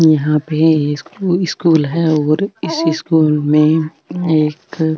यहाँ पे एक स्कूल है और इस स्कूल में --